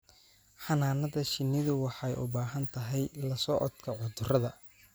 Xannaanada shinnidu waxay u baahan tahay la socodka cudurrada.